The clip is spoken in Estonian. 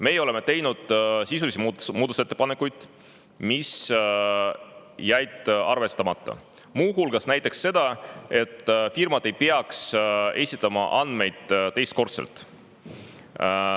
Meie oleme teinud sisulisi muudatusettepanekuid, mis jäid arvestamata, muu hulgas näiteks seda, et firmad ei peaks esitama andmeid teist korda.